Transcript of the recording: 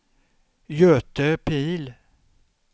Göte Pihl